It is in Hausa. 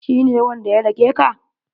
Shi ne wanda ya dake ka?